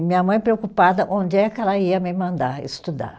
E minha mãe, preocupada, onde é que ela ia me mandar estudar?